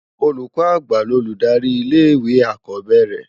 Ólúkò ágbá lólúdári ilé iwé ákó bèrè